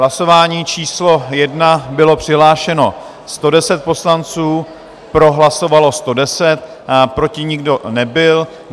Hlasování číslo 1, bylo přihlášeno 110 poslanců, pro hlasovalo 110, proti nikdo nebyl.